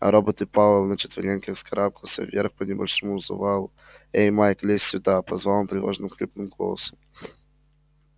а роботы пауэлл на четвереньках вскарабкался вверх по небольшому завалу эй майк лезь сюда позвал он тревожным хриплым голосом